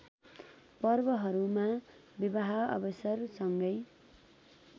पर्वहरूमा विवाह अवसरसँगै